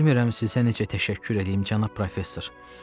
Bilmirəm sizə necə təşəkkür eləyim, cənab professor.